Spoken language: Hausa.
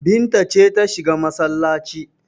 Binta ce ta shiga masallaci.